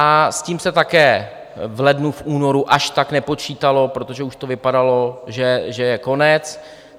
A s tím se také v lednu, v únoru až tak nepočítalo, protože už to vypadalo, že je konec.